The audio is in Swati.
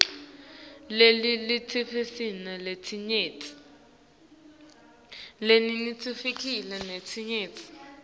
lelive linetilwimi letinyenti